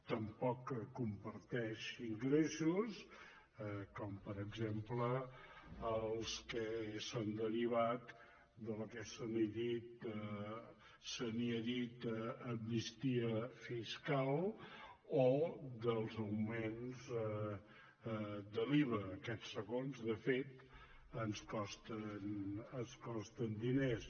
tampoc comparteix ingressos com per exemple els que són derivats del que se n’ha dit amnistia fiscal o dels augments de l’iva aquests segons de fet ens costen diners